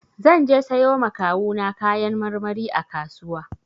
Zan je sayo ma kawu na kayan marmari a kasuwa.